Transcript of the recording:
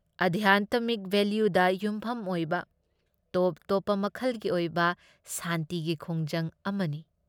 ꯑꯙ꯭ꯌꯥꯟꯇꯃꯤꯛ ꯚꯦꯂ꯭ꯌꯨꯗ ꯌꯨꯝꯐꯝ ꯑꯣꯏꯕ ꯇꯣꯞ ꯇꯣꯞꯄ ꯃꯈꯜꯒꯤ ꯑꯣꯏꯕ ꯁꯥꯟꯇꯤꯒꯤ ꯈꯣꯡꯖꯪ ꯑꯃꯅꯤ ꯫